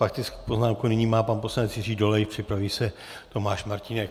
Faktickou poznámku nyní má pan poslanec Jiří Dolejš, připraví se Tomáš Martínek.